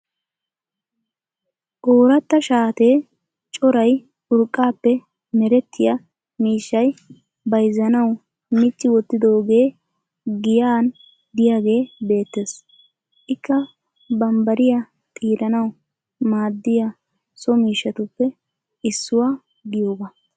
Ooratta shaatee coray urqqaappe merettiya miishshay bayizzanawi micci wottidoogee giyan diyagee beettes. Ikka bambbarya xiiranawu maaddiya so miishshatuppe issuwa giyogaa.